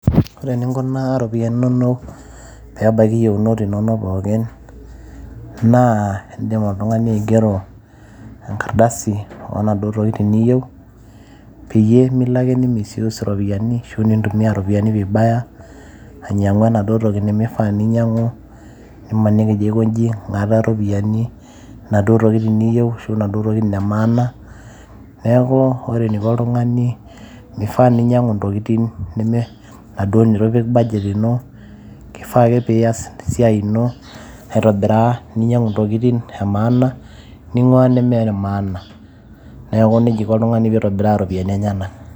ore eninkunaa iropiyiani inonok pebaiki iyieunot inonok pookin naa indim oltung'ani aigero enkardasi onaduo tokitin niyieu peyie melo ake ni misuse iropiyiani ashu nintumia iropiyiani vibaya ainyiang'u enaduo toki nemifaa ninyiang'u nimaniki ijo aikonji ing'ata iropiyiani inaduo tokitin niyieu ashu inaduo tokitin e maana neeku ore eniko oltung'ani mifaa ninyiang'u ntokitin neme inaduo netu ipik budget ino kifaa ake piyas esiai ino aitobiraa ninyiang'u intokitin e maana ning'ua nemene maana neeku nejia iko oltung'ani pitobiraa iropiyiani enyenak.